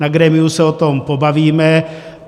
Na grémiu se o tom pobavíme.